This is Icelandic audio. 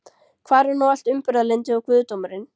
Hvar er nú allt umburðarlyndið og guðdómurinn?